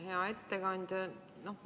Hea ettekandja!